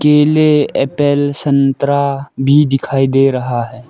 केले एप्पल संतरा भी दिखाई दे रहा है।